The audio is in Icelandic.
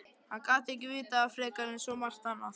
Hann gat ekki vitað það frekar en svo margt annað.